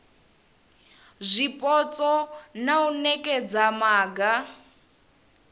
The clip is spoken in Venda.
zwipotso na u nekedza maga